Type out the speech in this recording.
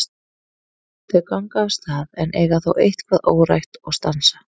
Þau ganga af stað en eiga þó eitthvað órætt og stansa.